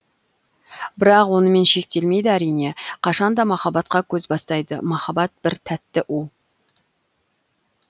бірақ онымен шектелмейді әрине қашанда махаббатқа көз бастайды махаббат бір тәтті у